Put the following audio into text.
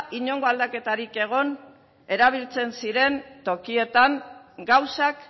inongo aldaketarik egon erabiltzen ziren tokietan gauzak